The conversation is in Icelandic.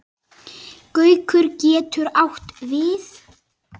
Gaukur getur átt við